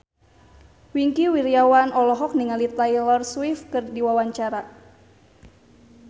Wingky Wiryawan olohok ningali Taylor Swift keur diwawancara